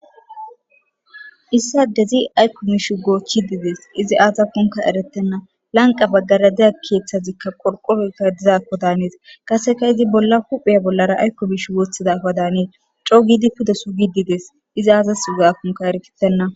issa dezi aykko mishu goochchi dides izi aazafunka eretenna lanqa baggaradeya keeththazikka qorqoreyka dizaakko daanees qaseka izi bolla huphiya bollara aykko mish gooththidafa daanee co gidi puda suugidides izaaazas ugaakunka erkitenna